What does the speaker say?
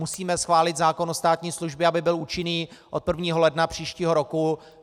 Musíme schválit zákon o státní službě, aby byl účinný od 1. ledna příštího roku.